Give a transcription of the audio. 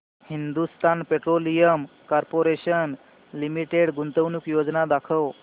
Hindustan petroleum corporation limited गुंतवणूक योजना दाखव